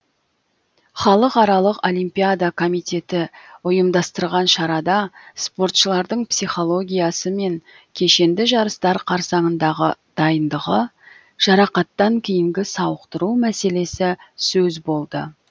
халықаралық олимпиада комитеті ұйымдастырған шарада спортшылардың психологиясы мен кешенді жарыстар қарсаңындағы дайындығы жарақаттан кейінгі сауықтыру мәселесі сөз болды